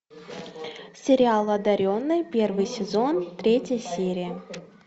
сериал одаренные первый сезон третья серия